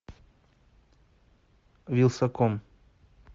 вилсаком